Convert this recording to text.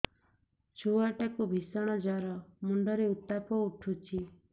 ଛୁଆ ଟା କୁ ଭିଷଣ ଜର ମୁଣ୍ଡ ରେ ଉତ୍ତାପ ଉଠୁଛି